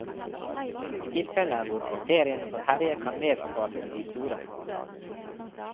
I tilfeller hvor bakterien får herje kan vevsskadene bli store.